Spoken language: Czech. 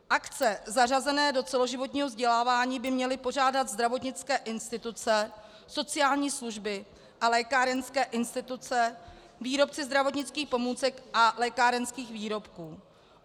Akce zařazené do celoživotního vzdělávání by měly pořádat zdravotnické instituce, sociální služby a lékárenské instituce, výrobci zdravotnických pomůcek a lékárenských výrobků.